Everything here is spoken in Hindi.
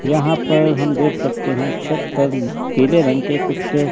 यहां पर हम देख सकते हैं छत पर पीले रंग के कुछ--